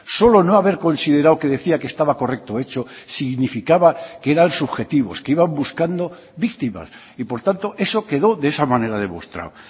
solo no haber considerado que decía que estaba correcto hecho significaba que eran subjetivos que iban buscando víctimas y por tanto eso quedó de esa manera demostrado